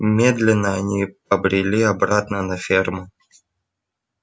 медленно они побрели обратно на ферму